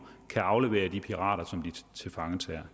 kan aflevere de pirater som de tilfangetager